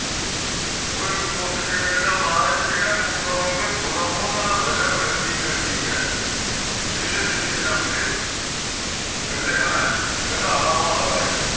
ਉਹ ਇਕ ਉੱਠ ਕ ਕਹਿੰਦਾ ਮਹਾਰਾਜ ਜਿਹੜਾ ਕੋਖ ਕਰੋਗੇ ਥੋੜ੍ਹਾ ਬਹੁਤਾ ਤਾ ਸਜਾ ਮਿਲਦੀ ਮਿਲਦੀ ਏ ਕਿਸੇ ਤਰੀਕੇ ਨਾ ਮਿਲੇ ਕਹਿੰਦੇ ਹੈਂ ਕਹਿੰਦਾ ਹਾਂ ਮਹਾਰਾਜ